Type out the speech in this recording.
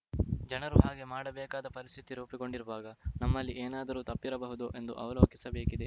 ಜನರು ಹಾಗೆ ಮಾಡಬೇಕಾದ ಪರಿಸ್ಥಿತಿ ರೂಪುಗೊಂಡಿರುವಾಗ ನಮ್ಮಲ್ಲಿ ಏನಾದರೂ ತಪ್ಪಿರಬಹುದೋ ಎಂದು ಅವಲೋಕಿಸಬೇಕಿದೆ